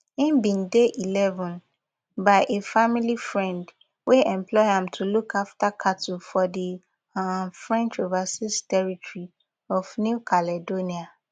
im bin dey eleven by a family friend wey employ am to look after cattle for di um french overseas territory of new caledonia